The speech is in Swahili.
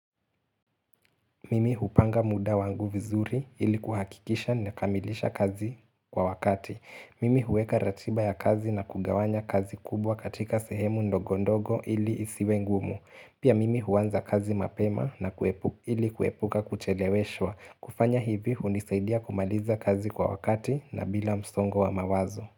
Mimi hupanga muda wangu vizuri ili kuhakikisha nakamilisha kazi kwa wakati. Mimi huweka ratiba ya kazi na kugawanya kazi kubwa katika sehemu ndogondogo ili isiwe ngumu. Pia mimi huanza kazi mapema ili kuepuka kucheleweshwa. Kufanya hivi hunisaidia kumaliza kazi kwa wakati na bila msongo wa mawazo.